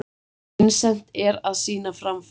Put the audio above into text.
Vincent er að sýna framfarir.